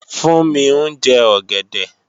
Fúnmi ń jẹ ọ̀gẹ̀dẹ̀